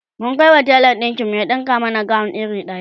mun Kai wa telan ɗinkin mu ya ɗinka mana gawon iri daya